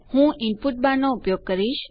હું input bar નો ઉપયોગ કરીશ